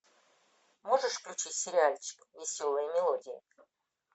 можешь включить сериальчик веселые мелодии